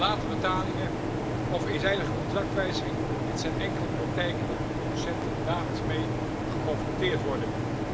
Late betalingen of eenzijdige contractwijziging dit zijn enkele praktijken waar producenten dagelijks mee geconfronteerd worden.